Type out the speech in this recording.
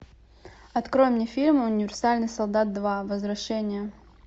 открой мне фильм универсальный солдат два возвращение